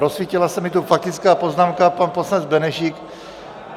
Rozsvítila se mi tu faktická poznámka - pan poslanec Benešík.